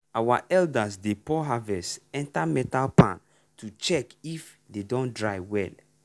our elders dey pour harvest enter metal pan to check if e don dry well.